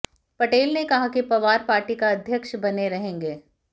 पटेल ने कहा कि पवार पार्टी का अध्यक्ष बने रहेंगे